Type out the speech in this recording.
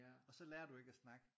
Og så lærer du ikke at snakke